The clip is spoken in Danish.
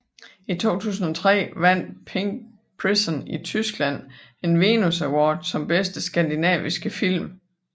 I 2003 vandt Pink Prison i Tyskland en Venus Award som Bedste Skandinaviske Film